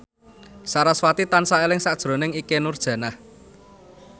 sarasvati tansah eling sakjroning Ikke Nurjanah